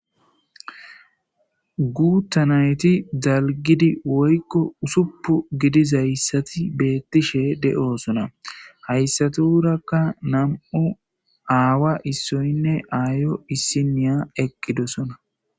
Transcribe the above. Guththa nayththi dalggidi woykko ussuppu gidizayssathi bethishshe deo'ssonna heyssaturakka nammu' awwa issoynne ayyo issinyya eqidossona.